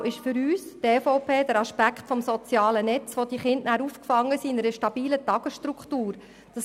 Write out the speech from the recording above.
Zentral für die EVP ist der Aspekt des sozialen Netzes, in denen die Kinder in einer stabilen Tagesstruktur aufgefangen sind.